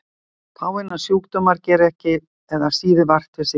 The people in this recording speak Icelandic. Fáeinir sjúkdómar gera ekki eða síður vart við sig á efri árum.